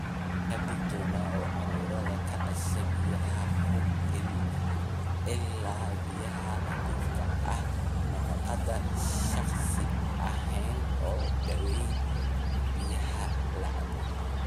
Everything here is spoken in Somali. Ka digtoonow cudurrada ka dhasha biyaha, hubi ilaha biyaha nadiifka ah, nadaafadda shakhsi ahaaneed, oo daweeyaan biyaha la cabbo.